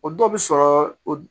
O dɔ bi sɔrɔ o